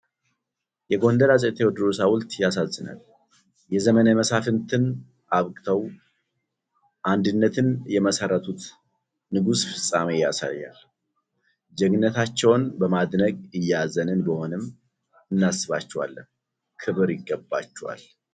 የጎንደሩ አፄ ቴዎድሮስ ሐውልት ያሳዝናል። የዘመነ መሳፍንትን አብቅተው አንድነትን የመሰረቱት ንጉስ ፍጻሜ ያሳያል። ጀግንነታቸውን በማድነቅ እያዘንን ቢሆንም እናስባቸዋለን። ክብር ይገባቸዋል!